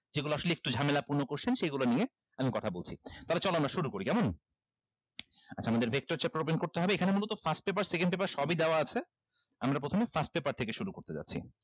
যেগুলা আসলে একটু ঝামেলাপূর্ণ question সেইগুলা নিয়ে আমি কথা বলছি তাহলে চলো আমরা শুরু করি কেমন আচ্ছা আমাদের vector chapter open করতে হবে এখানে মূলত first paper second paper সবই দেওয়া আছে আমরা প্রথমে first paper থেকে শুরু করতে যাচ্ছি